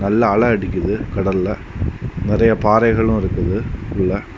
நல்லா அலை அடிக்குது கடல்ல நிறைய பாறைகளும் இருக்குது உள்ள.